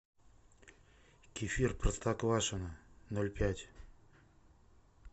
кефир простоквашино ноль пять